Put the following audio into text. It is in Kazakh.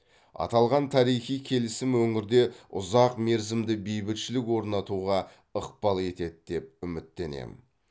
аталған тарихи келісім өңірде ұзақ мерзімді бейбітшілік орнатуға ықпал етеді деп үміттенемін